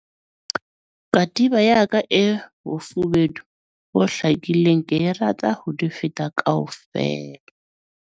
katiba ya ka e bofubedu bo hlakileng ke e rata ho di feta kaofela